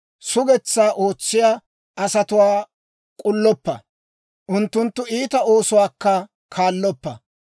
Sugetsaa ootsiyaa asatuwaa k'ulloppa; unttunttu iita oosuwaakka kaalloppa.